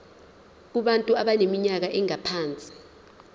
kubantu abaneminyaka engaphansi